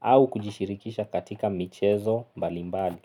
au kujishirikisha katika michezo mbalimbali.